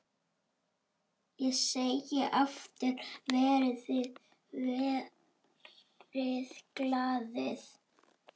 Ég segi aftur: Verið glaðir.